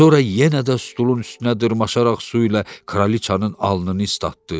Sonra yenə də stulun üstünə dırmaşaraq su ilə kraliçanın alnını islatdı.